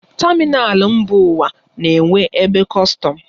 Tamịnal mba ụwa na-enwe ebe kọstọm.